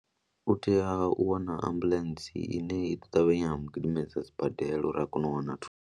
U tea u wana ambuḽentsi ine i ḓo ṱavhanya gidimedza sibadela uri a kone u wana thuso.